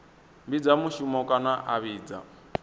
fhidza mushumoni kana a fhidza